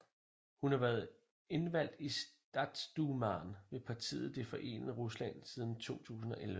Hun har været indvalgt i Statsdumaen ved partiet Det Forenede Rusland siden 2011